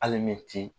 Hali ni ti